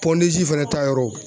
fɛnɛ ta yɔrɔ.